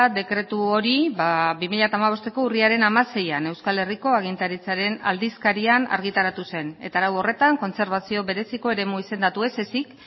dekretu hori bi mila hamabosteko urriaren hamaseian euskal herriko agintaritzaren aldizkarian argitaratu zen eta arau horretan kontserbazio bereziko eremu izendatu ez ezik